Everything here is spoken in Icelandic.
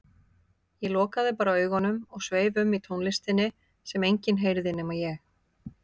Ég lokaði bara augunum og sveif um í tónlistinni sem enginn heyrði nema ég.